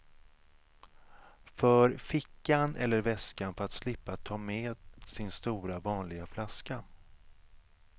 För fickan eller väskan för att slippa ta med sin stora vanliga flaska.